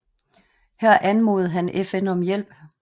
Her anmodede han FN om hjælp